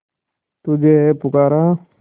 तुझे है पुकारा